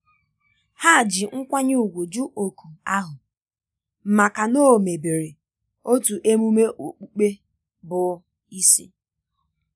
há jì nkwanye ùgwù jụ́ òkù ahụ màkà na ọ́ mègbèrè otu ememe okpukpe bụ́ isi.